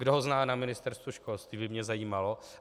Kdo ho zná na Ministerstvu školství, by mě zajímalo.